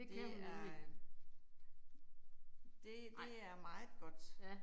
Det er øh det det er meget godt